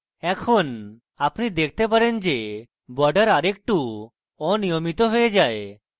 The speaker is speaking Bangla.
এখন আপনি দেখতে পারেন যে border আরেকটু অনিয়মিত হয়ে যায়